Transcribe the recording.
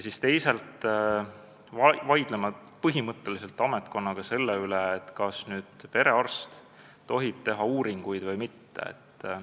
Teisalt vaidleme ametkonnaga põhimõtteliselt selle üle, kas perearst tohib uuringuid teha või mitte.